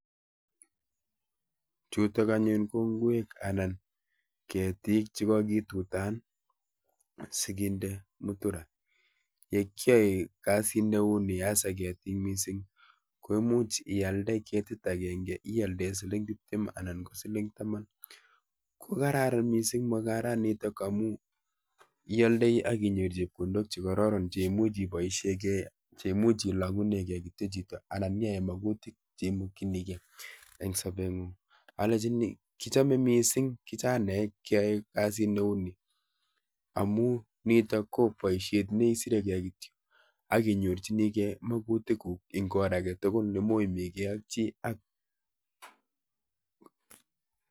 Chutok anyun ko ngwek anan ketik che kagitutan asiginde mutura. Ye kiae kasit neuni [s] hasa ketik missing ko imuch ialde ketit agenge ialdee siling tiptem anan ko siling taman. Ko kararan missing mung'aranitok amu ialdei akinyoru chepkondok chekororon cheimuch iboisiegei cheimuch ilogunegei kityo chito anan nyiae magutik cheimokchinigei eng sobet ng'ung. Alechini kichame missing kichanaek keae kasit neuni amu nitok ko boisiet neisiregei kityo akinyorchinigei magutiguk eng or age tugul ne moimigei ak chi ak.